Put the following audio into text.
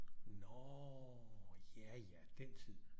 Nå ja ja den tid